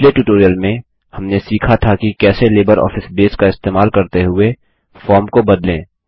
पिछले ट्यूटोरियल में हमने सीखा था कि कैसे लिबरऑफिस बेस का इस्तेमाल करते हुए फॉर्म को बदलें